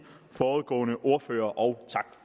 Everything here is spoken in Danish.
foregående ordførere og tak